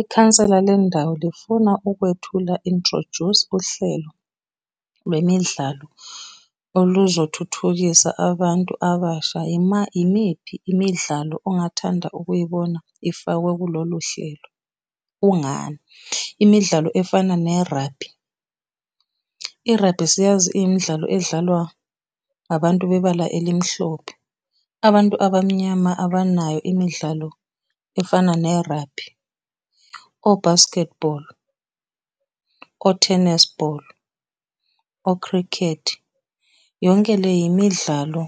Ikhansela lendawo lifuna ukwethula, introduce, uhlelo lwemidlalo oluzothuthukisa abantu abasha. Yimiphi imidlalo ongathanda ukuyibona ifakwe kulolu hlelo? Kungani? Imidlalo efana ne rugby, i-rugby siyazi iyimidlalo edlalwa abantu bebala elimhlophe, abantu abamnyama abanayo imidlalo efana ne-rugby, o-basketball, o-tennis ball, o-cricket. Yonke le yimidlalo